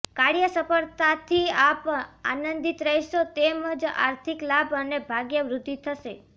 કાર્ય સફળતાથી આપ આનંદિત રહેશો તેમ જ આર્થિક લાભ અને ભાગ્યવૃદ્ધિ થશે